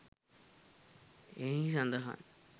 එහි සඳහන්.